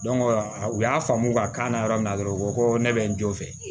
u y'a faamu u b'a k'an na yɔrɔ min na dɔrɔn u ko ko ne bɛ n jɔ